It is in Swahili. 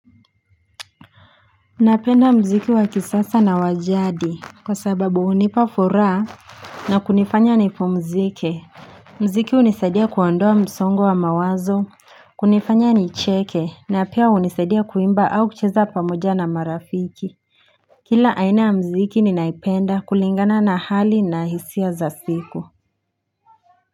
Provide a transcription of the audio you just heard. Napenda muziki wakisasa na wajadi Kwa sababu hunipa furaha na kunifanya nipumzike Muziki hunisaidia kuondoa msongo wa mawazo kunifanya nicheke na pia hunisaidia kuimba au kucheza pamoja na marafiki Kila aina ya muziki ninaipenda kulingana na hali na hisia za siku.